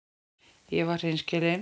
Ég var hreinskilin.